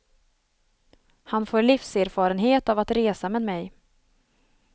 Han får livserfarenhet av att resa med mig.